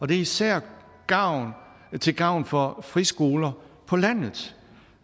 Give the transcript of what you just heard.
det er især til gavn for friskoler på landet